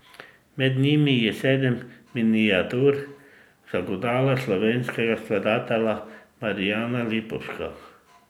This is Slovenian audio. Med njimi je Sedem miniatur za godala slovenskega skladatelja Marijana Lipovška.